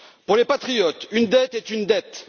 Pour les patriotes, une dette est une dette.